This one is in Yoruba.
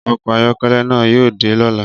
Ọkọ ayọkẹlẹ na yóò dé lọla